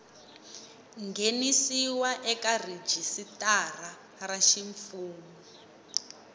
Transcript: nghenisiwa eka rhijisitara ra ximfumu